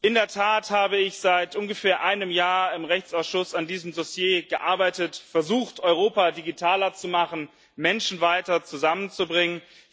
In der Tat habe ich seit ungefähr einem Jahr im Rechtsausschuss an diesem Dossier gearbeitet, versucht Europa, digitaler zu machen, Menschen weiter zusammenzubringen.